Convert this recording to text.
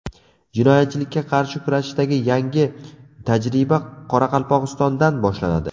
Jinoyatchilikka qarshi kurashishdagi yangi tajriba Qoraqalpog‘istondan boshlanadi.